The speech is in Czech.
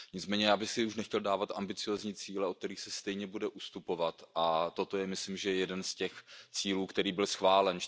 Nicméně já bych si už nechtěl dávat ambiciózní cíle, od kterých se stejně bude ustupovat, a toto je myslím, že jeden z těch cílů, který byl schválen.